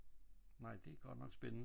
Nej det er godt nok spændende ik?